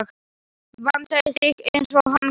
Vandaði sig eins og hann gat.